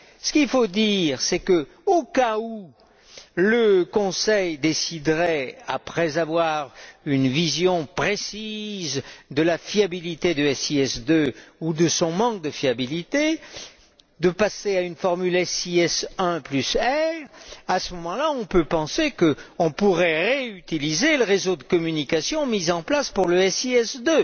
Ce qu'il faut dire, c'est que, au cas où le Conseil déciderait, après avoir obtenu une vision précise de la fiabilité du SIS II ou de son manque de fiabilité, de passer à une formule SIS IR, on pourrait penser qu'à ce moment là, on pourrait réutiliser le réseau de communication mis en place pour le SIS